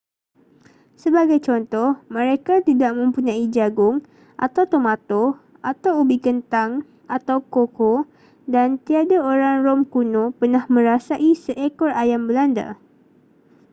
sebagai contoh mereka tidak mempunyai jagung atau tomato atau ubi kentang atau koko dan tiada orang rom kuno pernah merasai seekor ayam belanda